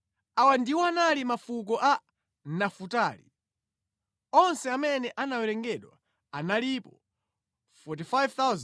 Awa ndiwo anali mafuko a Nafutali. Onse amene anawerengedwa analipo 45,400.